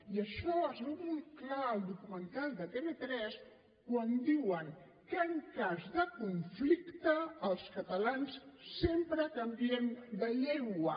i això es veu molt clar al documental de tv3 quan diuen que en cas de conflicte els catalans sempre canviem de llengua